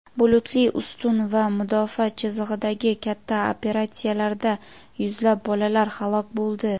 "bulutli ustun" va "mudofaa chizig‘i"dagi katta operatsiyalarida yuzlab bolalar halok bo‘ldi.